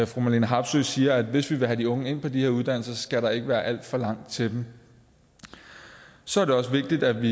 fru marlene harpsøe siger at hvis vi vil have de unge ind på de her uddannelser skal der ikke være alt for langt til dem så er det også vigtigt at vi